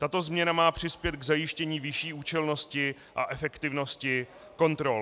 Tato změna má přispět k zajištění vyšší účelnosti a efektivnosti kontrol.